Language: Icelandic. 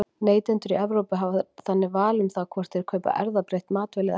Neytendur í Evrópu hafa þannig val um það hvort þeir kaupa erfðabreytt matvæli eða ekki.